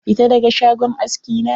Fita daga shagon aski na?